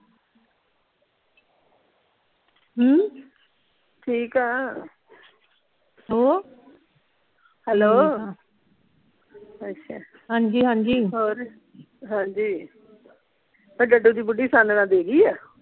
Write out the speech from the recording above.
ਹਮ ਠੀਕ ਆ hello hello ਠੀਕ ਆ ਅੱਛਾ ਹਾਂਜੀ ਹਾਂਜੀ ਹੋਰ ਹਾਂਜੀ ਦੀ ਬੁੱਢੀ ਛਾਣਨਾ ਦੇ ਗਈ ਆ